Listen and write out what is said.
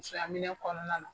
Musoyaminɛn kɔnɔna na.